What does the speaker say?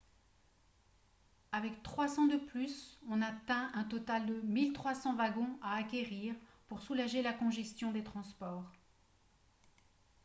avec 300 de plus on atteint un total de 1 300 wagons à acquérir pour soulager la congestion des transports